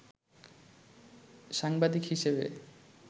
সাংবাদিক হিসেবে